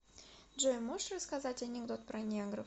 джой можешь рассказать анекдот про негров